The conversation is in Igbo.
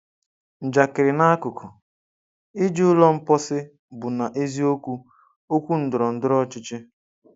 Njakịrị n’akụkụ, iji ụlọ mposi bụ na-eziokwu okwu ndọrọ ndọrọ ọchịchị.